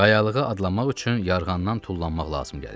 Qayalığa adlamaq üçün yarğandan tullanmaq lazım gəlirdi.